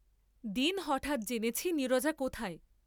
দিন হঠাৎ জেনেছি নীরজা কোথায়।